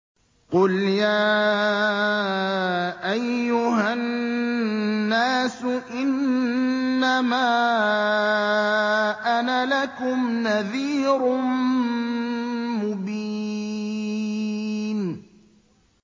قُلْ يَا أَيُّهَا النَّاسُ إِنَّمَا أَنَا لَكُمْ نَذِيرٌ مُّبِينٌ